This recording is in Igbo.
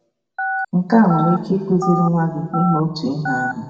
Nke a nwere ike ịkụziri nwa gị ime otu ihe ahụ.